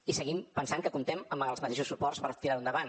i seguim pensant que comptem amb els mateixos suports per tirar ho endavant